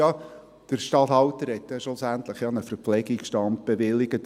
«Ja, der Statthalter hat ja schlussendlich einen Verpflegungsstand bewilligt.